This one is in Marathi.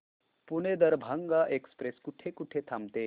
पुणे दरभांगा एक्स्प्रेस कुठे कुठे थांबते